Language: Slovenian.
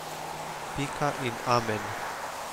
Pika in amen.